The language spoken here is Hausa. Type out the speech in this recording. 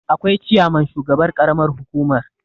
akwai ciyaman shugaban ƙaramar hukumar